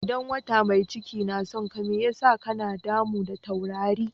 Idan wata mai cike na son ka, mai ya sa ka na damu da taurari?